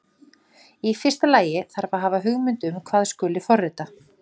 Í fyrsta lagi þarf að hafa hugmynd um hvað skuli forrita.